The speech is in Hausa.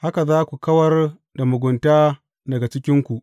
Haka za ku kawar da mugunta daga cikinku.